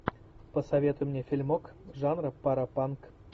посоветуй мне фильмок жанра паропанк